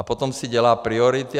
A potom si dělá priority.